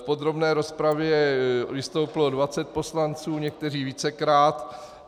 V podrobné rozpravě vystoupilo 20 poslanců, někteří vícekrát.